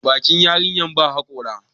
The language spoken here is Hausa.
bakin yarinyar ba haƙora